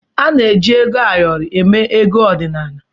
A na-eji ego ayọrọ eme ego ọdịnala.